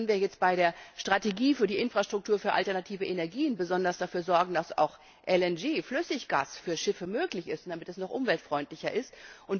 Wie können wir bei der Strategie für die Infrastruktur für alternative Energien besonders dafür sorgen, dass auch LNG Flüssiggas für Schiffe möglich ist, damit die Binnenschifffahrt noch umweltfreundlicher